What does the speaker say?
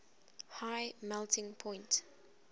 high melting point